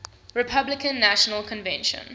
republican national convention